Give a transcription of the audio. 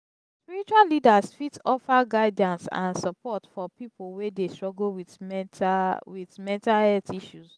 spiritual leaders fit offer guidance and support for people wey dey struggle with mental with mental health issues.